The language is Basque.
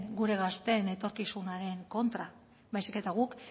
gure gazteen etorkizunaren kontra baizik eta guk